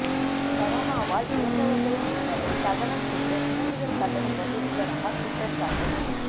கரோனாவால் இறந்தவா்களின் உடல்களை தகனம் செய்ய கூடுதல் கட்டணம் வசூலிப்பதாக குற்றச்சாட்டு